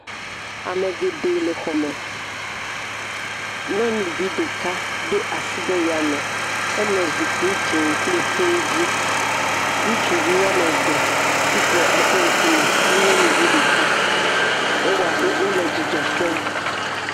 amɛ gɛɖɛ lɛ xɔmɛ nyɔnuvi ɖɛka dó asi ɖe yame eno zikpi dzĩ kpli hi dzi ŋutsuvi woameve titre eƒe ŋkumɛ kpli nyɔnuvi ɖeka ewoabe wolɛ dzidzɔkpɔm